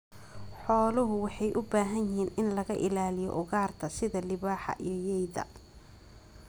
Xooluhu waxay u baahan yihiin in laga ilaaliyo ugaarta sida libaaxa iyo yeyda.